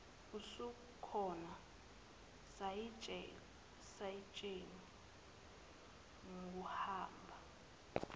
usukhona sayitsheni kuhamba